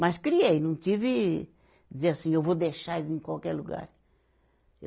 Mas criei, não tive... dizer assim, eu vou deixar eles em qualquer lugar.